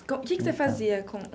O que que você fazia com?